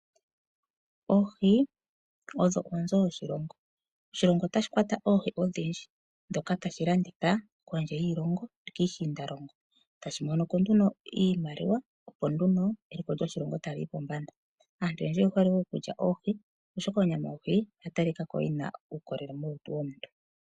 Oohi odho onzo yoshilongo. Oshilongo oha shi kwata oohi odhindji, ndhoka ha shi landitha kondje yiilongo osho woo kiishiindalongo, sho tashi monoko nduno iimaliwa opo eliko lyoshilongo li ye pombanda. Aantu oyendji oyehole woo okulya oohi, oshoka onyama yohi oya talikako yi na uukolele molutu lomuntu.